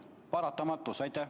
See on paratamatus.